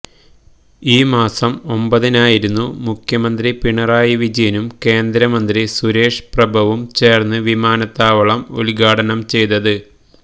ഈ മാസം ഒമ്പതിനായിരുന്നു മുഖ്യമന്ത്രി പിണറായി വിജയനും കേന്ദ്രമന്ത്രി സുരേഷ് പ്രഭവും ചേർന്ന് വിമാനത്താവളം ഉദ്ഘാടനം ചെയ്തത്